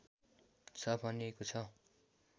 छ भनिएको छ